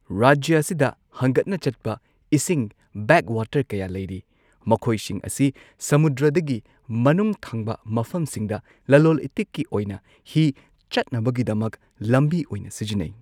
ꯔꯥꯖ꯭ꯌ ꯑꯁꯤꯗ ꯍꯪꯒꯠꯅ ꯆꯠꯄ ꯏꯁꯤꯡ ꯕꯦꯛꯋꯥꯇꯔ ꯀꯌꯥ ꯂꯩꯔꯤ, ꯃꯈꯣꯏꯁꯤꯡ ꯑꯁꯤ ꯁꯃꯨꯗ꯭ꯔꯗꯒꯤ ꯃꯅꯨꯡ ꯊꯪꯕ ꯃꯐꯝꯁꯤꯡꯗ ꯂꯂꯣꯜ ꯏꯇꯤꯛꯀꯤ ꯑꯣꯏꯅ ꯍꯤ ꯆꯠꯅꯕꯒꯤꯗꯃꯛ ꯂꯝꯕꯤ ꯑꯣꯏꯅ ꯁꯤꯖꯤꯟꯅꯩ꯫